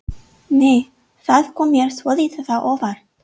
Nei! Það kom mér svolítið á óvart!